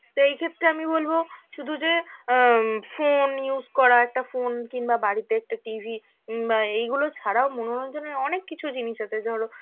তো এই ক্ষেত্রে আমি বলব শুধু যে অ উম phone use করা, একটা phone কিংবা বাড়িতে একটা TV উম বা এইগুলো ছাড়াও মনোরঞ্জনের অনেক কিছু জিনিস আছে, ধরো